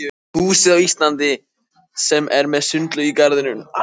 húsið á Íslandi sem er með sundlaug í garðinum.